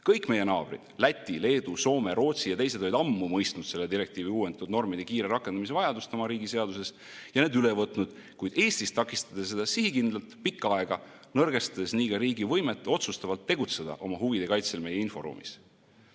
Kõik meie naabrid – Läti, Leedu, Soome, Rootsi ja teised – olid ammu mõistnud selle direktiivi uuendatud normide kiire rakendamise vajadust oma riigi seaduses ja need üle võtnud, kuid Eestis takistati seda sihikindlalt pikka aega, nõrgestades nii ka riigi võimet otsustavalt tegutseda oma huvide kaitsel meie inforuumis.